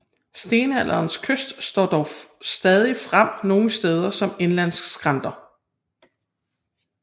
Stenalderens kyst står dog stadig frem nogle steder som indlandsskrænter